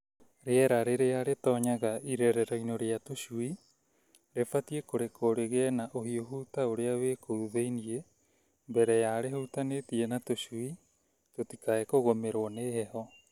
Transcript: Rĩera rĩrĩa rĩratonya irerero-inĩ rĩa tũcui rĩbatiĩ kũrekwo rĩgĩe na ũhiũhu ta ũrĩa wĩ kũu thĩinĩ mbere ya rĩhutanĩtie na tũcui tũtikae kũgũmĩrwo nĩ heho.